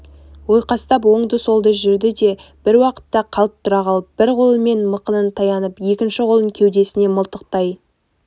ойқастап оңды-солды жүрді де бір уақытта қалт тұра қалып бір қолымен мықынын таянып екінші қолын кеудесіне мылтықтай